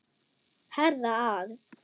Herða að.